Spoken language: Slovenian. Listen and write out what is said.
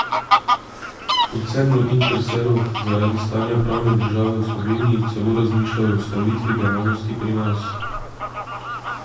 V koncernu Interseroh zaradi stanja pravne države v Sloveniji celo razmišljajo o ustavitvi dejavnosti pri nas.